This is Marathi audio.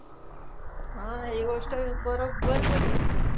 हा हि गोष्ट बरोबर बोललीस तू.